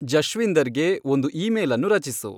ಜಶ್ವಿಂದರ್ಗೆ ಒಂದು ಇಮೇಲ್ ಅನ್ನು ರಚಿಸು